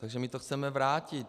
Takže my to chceme vrátit.